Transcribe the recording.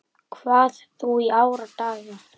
Þetta var stórt dæmi.